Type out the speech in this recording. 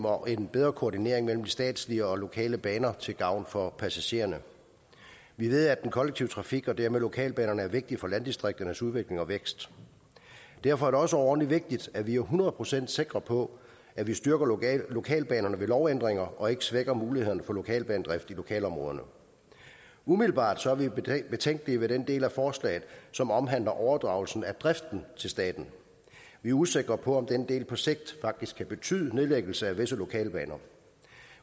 og en bedre koordinering mellem statslige og lokale baner til gavn for passagererne vi ved at den kollektive trafik og dermed lokalbanerne er vigtige for landdistrikternes udvikling og vækst og derfor er det også overordentlig vigtigt at vi hundrede procent sikre på at vi styrker lokalbanerne ved lovændringer og ikke svækker mulighederne for lokalbanedrift i lokalområderne umiddelbart er vi betænkelige ved den del af forslaget som omhandler overdragelse af driften til staten vi er usikre på om den del på sigt faktisk kan betyde nedlæggelse af visse lokalbaner